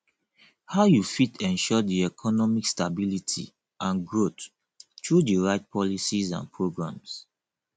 how you fit ensure di economic stability and growth through di right policies and programs